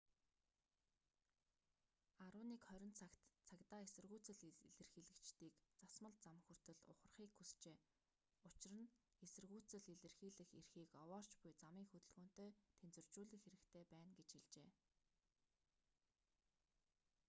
11:20 цагт цагдаа эсэргүүцэл илэрхийлэгчдийг засмал зам хүртэл ухрахыг хүсжээ учир нь эсэргүүцэл илэрхийлэх эрхийг овоорч буй замын хөдөлгөөнтэй тэнцвэржүүлэх хэрэгтэй байна гэж хэлжээ